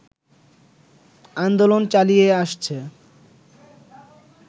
আন্দোলন চালিয়ে আসছে